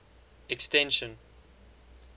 extension